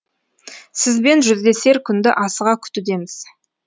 сізбен жүздесер күнді асыға күтудеміз